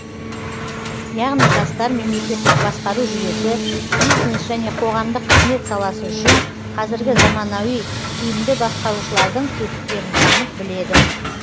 яғни жастар мемлекеттік басқару жүйесі бизнес және қоғамдық қызмет саласы үшін қазіргі заманауи тиімді басқарушылардың тетіктерін танып біледі